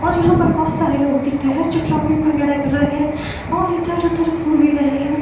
यहां पर बहुत सारे लोग दिख रहे हैं जो शॉपिंग वगैरह कर रहे हैं और इधर उधर घूम ही रहे हैं।